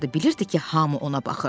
B bilirdi ki, hamı ona baxır.